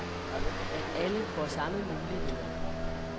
At alle får samme muligheder.